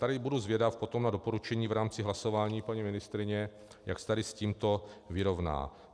Tady budu zvědav potom na doporučení v rámci hlasování paní ministryně, jak se tady s tímto vyrovná.